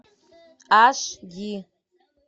аш ди